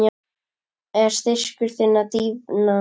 Er styrkur þinn að dvína?